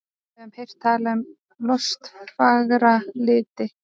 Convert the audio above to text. Við höfum heyrt talað um lostfagra liti.